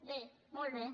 bé molt bé